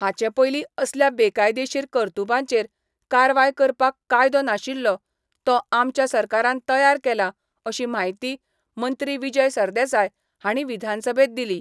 हाचे पयलीं असल्या बेकायदेशीर कर्तुबांचेर कारवाय करपाक कायदो नाशिल्लो तो आमच्या सरकारान तयार केला अशी म्हायती मंत्री विजय सरदेसाय हांणी विधानसभेत दिली.